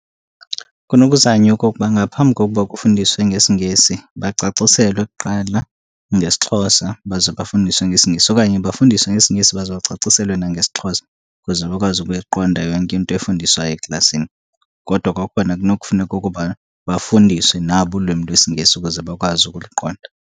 Kunokuzanywa okokuba ngaphambi kokuba kufundiswe ngesiNgesi bacaciselwe kuqala ngesiXhosa baze bafundiswe ngesiNgesi. Okanye bafundiswe ngesiNgesi baze bacaciselwe nangesiXhosa ukuze bakwazi ukuyiqonda yonke into efundiswayo eklasini. Kodwa okokubana kunokufuneka ukuba bafundiswe nabo ulwimi lwesiNgesi ukuze bakwazi ukuliqonda.